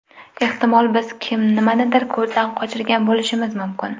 Ehtimol biz nimanidir ko‘zdan qochirgan bo‘lishimiz mumkin.